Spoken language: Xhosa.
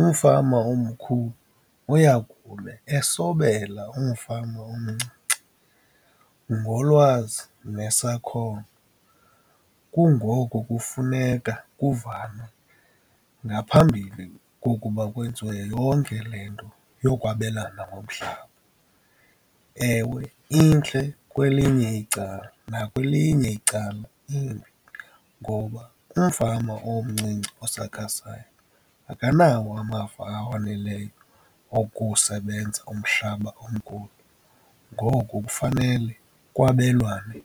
umfama omkhulu uyakube esobela umfama omncinci ngolwazi nesakhono. Kungoku kufuneka kuvanwe ngaphambili kokuba kwenziwe yonke le nto yokwabelana ngomhlaba. Ewe intle kwelinye icala, nakwelinye icala imbi ngoba umfama omncinci osakhasayo akanawo amava awoneleyo wokusebenza umhlaba omkhulu, ngoku kufanele kwabelwane